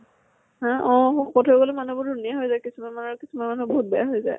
হা অ শকত হৈ গলে মানুহ বোৰ ধুনীয়া হয় যায় কিছুমান মানুহ, কিছুমান মানুহ বহুত বেয়া হৈ যায়।